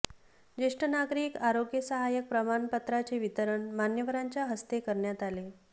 ज्येष्ठ नागरिक आरोग्य सहाय्यक प्रमाणपत्रांचे वितरण मान्यवरांच्या हस्ते करण्यात आले